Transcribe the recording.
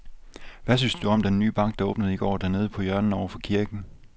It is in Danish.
Hvad synes du om den nye bank, der åbnede i går dernede på hjørnet over for kirken?